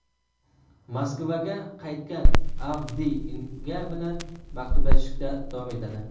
Moskvaga qaytgan Avdiy Inga bilan maktublashishda davom etadi.